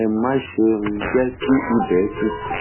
ẹ máṣe um jẹ kí ibẹ tutù